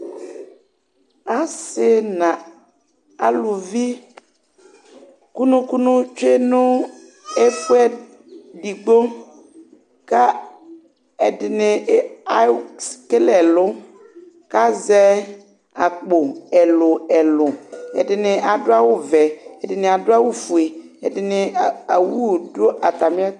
assi na alʊvi kunukunu tsue nũ efue digbo ka edini e aw s kélé ɛlũ kkka zɛ akpo elu elu edini adu awu vɛ edini adu awu fué edini a awu dũ atamiet